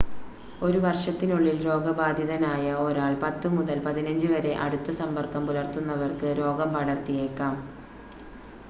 ഒരു വർഷത്തിനുള്ളിൽ രോഗബാധിതനായ ഒരാൾ 10 മുതൽ 15 വരെ അടുത്ത സമ്പർക്കം പുലർത്തുന്നവർക്ക് രോഗം പടർത്തിയേക്കാം